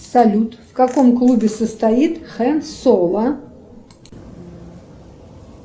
салют в каком клубе состоит хэн соло